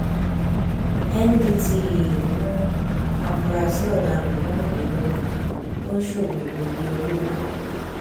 ndtea mú àfúrásì ọdaràn mẹrìnlélọgbọn tó ń ṣòwò egbòogi olóró